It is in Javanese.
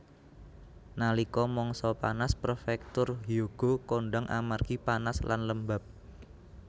Nalika mangsa panas prefektur Hyogo kondhang amargi panas lan lembab